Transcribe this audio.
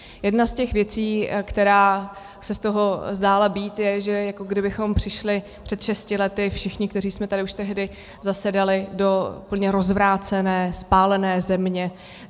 Jedna z těch věcí, která se z toho zdála být, je, že jako kdybychom přišli před šesti lety všichni, kteří jsme tady už tehdy zasedali, do úplně rozvrácené, spálené země.